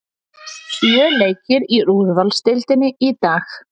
Sjö leikir í úrvalsdeildinni í dag